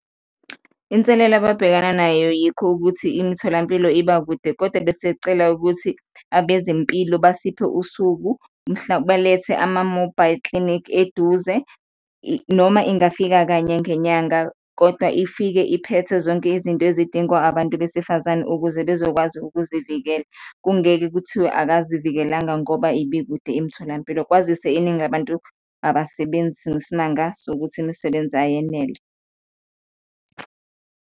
Inselele ababhekana nayo yikho ukuthi imitholampilo iba kude kodwa besicela ukuthi abezempilo basiphe usuku, mhla balethe ama-mobile clinic eduze, noma ingafika kanye ngenyanga kodwa ifike iphethe zonke izinto ezidingwa abantu besifazane ukuze bezokwazi ukuzivikela, kungeke kuthiwe akazivikelanga ngoba ibi kude imitholampilo, kwazise iningi labantu abasebenzi ngesimanga sokuthi imisebenzi ayenele.